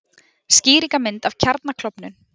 Skýringarmynd af kjarnaklofnun.